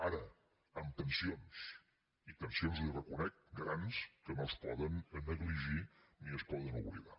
ara amb tensions i tensions li ho reconec grans que no es poden negligir ni es poden oblidar